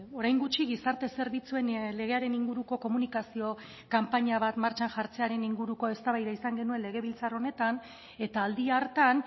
orain gutxi gizarte zerbitzuen legearen inguruko komunikazio kanpaina bat martxan jartzearen inguruko eztabaida izan genuen legebiltzar honetan eta aldi hartan